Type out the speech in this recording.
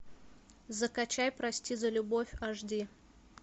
закачай прости за любовь аш ди